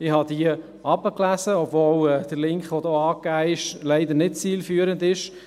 Ich habe diese gelesen, obwohl der angegebene Link leider nicht zielführend ist.